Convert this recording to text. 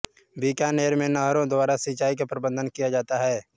बीकानेर में नहरों द्वारा सिंचाई का प्रबंध किया जाता है